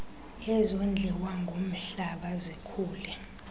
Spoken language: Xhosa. ezondliwa ngumhlaba zikhule